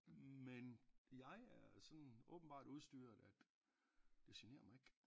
Men jeg er sådan åbenbart udstyret at det generer mig ikke